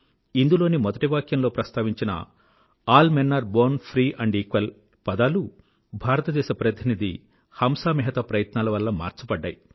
ఇందులోని మొదటి వాక్యంలో ప్రస్థావించిన all men are born free and equal పదాలు భారతదేశ ప్రతినిధి హంసా మెహతా ప్రయత్నాల వల్ల మార్చబడ్డాయి